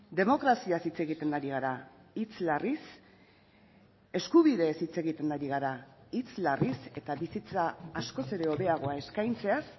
demokraziaz hitz egiten ari gara hitz larriz eskubideez hitz egiten ari gara hitz larriz eta bizitza askoz ere hobeagoa eskaintzeaz